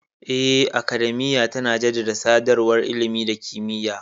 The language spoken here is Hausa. Eh, Academiya tana jaddada sadarwar ilimi da kimiyya.